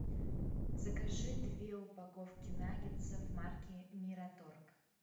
закажи две упаковки наггетсов марки мираторг